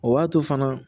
O b'a to fana